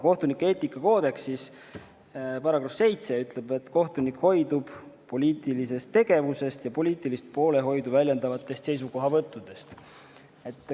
Kohtunike eetikakoodeksi § 7 ütleb, et kohtunik hoidub poliitilisest tegevusest ja poliitilist poolehoidu väljendavatest seisukohavõttudest.